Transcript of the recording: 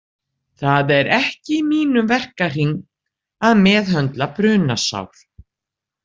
Það er ekki í mínum verkahring að meðhöndla brunasár.